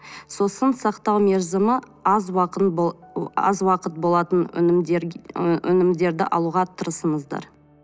сосын сақтау мерзімі аз аз уақыт болатын ы өнімдерді алуға тырысыңыздар